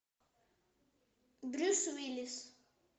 брюс уиллис